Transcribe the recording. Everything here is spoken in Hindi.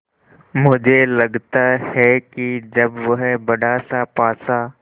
मुझे लगता है कि जब वह बड़ासा पासा